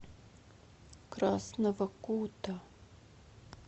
красного кута